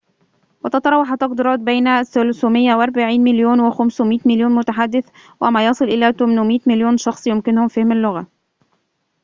وتتراوح التقديرات بين 340 مليون و500 مليون متحدث وما يصل إلى 800 مليون شخص يمكنهم فهم اللغة